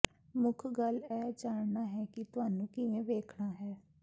ਮੁੱਖ ਗੱਲ ਇਹ ਜਾਨਣਾ ਹੈ ਕਿ ਇਸਨੂੰ ਕਿਵੇਂ ਵੇਖਣਾ ਹੈ